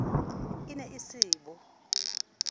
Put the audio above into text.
e ne e se bo